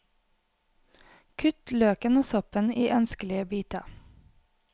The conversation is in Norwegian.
Kutt løken og soppen i ønskelige biter.